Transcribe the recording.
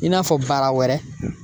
I n'a fɔ bara wɛrɛ.